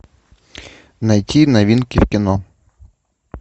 найти новинки в кино